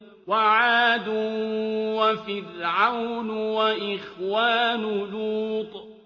وَعَادٌ وَفِرْعَوْنُ وَإِخْوَانُ لُوطٍ